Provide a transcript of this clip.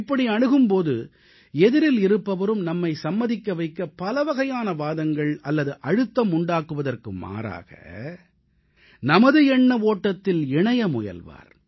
இப்படி அணுகும் போது எதிரில் இருப்பவரும் நம்மை சம்மதிக்க வைக்க பலவகையான வாதங்கள் அல்லது அழுத்தம் உண்டாக்குவதற்கு மாறாக நமது எண்ண ஓட்டத்தில் இணைய முயல்வார்